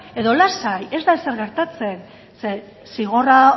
edo lasai ez da ezer gertatzen zeren zigorra